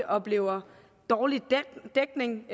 oplever dårlig dækning